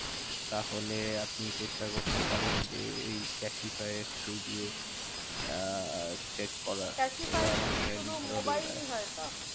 তাহলে আপনি চেষ্টা করতে পারেন যে এই ক্যাসিফাই এর through দিয়ে আহ check করার ক্যাসিফাই টা ওরা generally ভালো deal তো শুধু দেয় মোবাইলেই হয় তো?